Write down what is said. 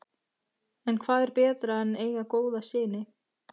En hvað er betra en eiga góða syni?